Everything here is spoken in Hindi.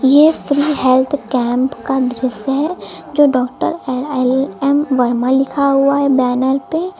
ये फ्री हेल्थ कैंप का दृश्य है जो डॉक्टर एल एम वर्मा लिखा हुआ है बैनर पे--